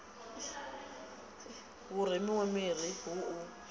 hu remiwe miri hu u